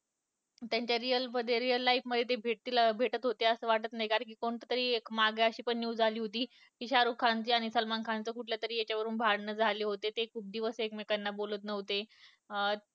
त्यांच्या real life मध्ये ते भेटतील भेटत होते असं वाटत नाही कारण मागे कोणतीतरी अशी news आली होती शारुख खान आणि सलमान खान चं कुठल्या तरी याच्यावरून भांडणं झाल होत ते खूप दिवस एकमेकांना बोलत नव्हते